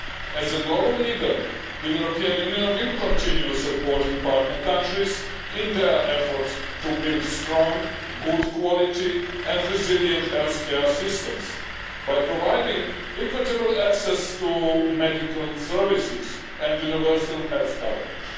As a global leader, the European Union will continue supporting partner countries in their efforts to build strong, good quality and resilient healthcare systems by providing equitable access to medical services and universal health coverage.